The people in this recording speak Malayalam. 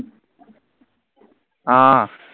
ആഹ്